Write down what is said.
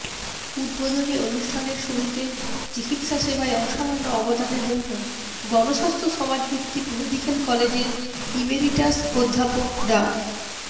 উদ্বোধনী অনুষ্ঠানের শুরুতে চিকিৎসাসেবায় অসামান্য অবদানের জন্য গণস্বাস্থ্য সমাজভিত্তিক মেডিক্যাল কলেজের ইমেরিটাস অধ্যাপক ডা